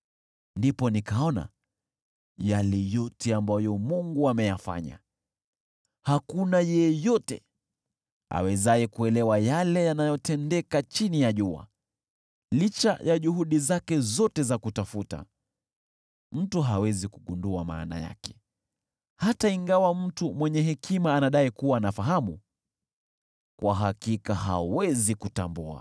ndipo nikaona yale yote ambayo Mungu ameyafanya. Hakuna yeyote awezaye kuelewa yale yanayotendeka chini ya jua. Licha ya juhudi zake zote za kutafuta, mtu hawezi kugundua maana yake. Hata ingawa mtu mwenye hekima anadai kuwa anafahamu, kwa hakika hawezi kutambua.